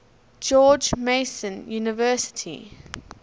george mason university